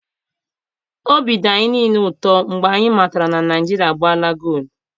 Obi dị anyị niile ụtọ mgbe anyị matara na Naijiria agbaala goolu.